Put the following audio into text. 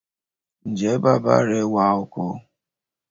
Ǹjẹ́ bàbá rẹ wa ọkọ̀?